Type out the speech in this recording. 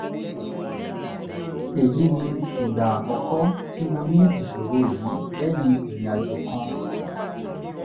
èyí ni ìgbà àkọ́kọ́ tí mo ní ìṣòro yìí lẹ́yìn ìrìn àjò kan